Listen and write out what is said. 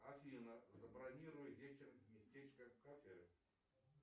афина забронируй вечером местечко в кафе